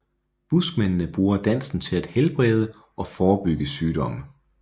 Buskmændene bruger dansen til at helbrede og forebygge sygdomme